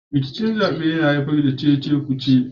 Rikicin zaɓe yana haifar da cece-kuce